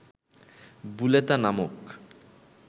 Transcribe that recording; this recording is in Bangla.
বুলেতা নামক